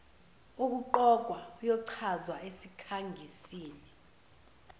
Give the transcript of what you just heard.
wokuqokwa uyochazwa esikhangisini